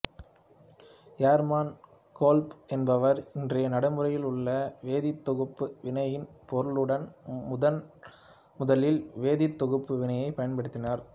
Hermann Kolbe என்பவர் இன்றைய நடைமுறையில் உள்ள வேதித்தொகுப்பு வினையின் பொருளுடன் முதன் முதலில் வேதித்தொகுப்பு வினையைப் பயன்படுத்தினார்